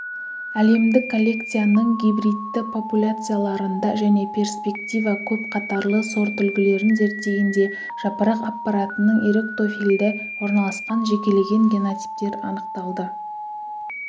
әлемдік коллекцияның гибридті популяцияларында және перспектива көп қатарлы сортүлгілерін зерттегенде жапырақ аппаратының эректофильді орналасқан жекелеген генотиптер анықталды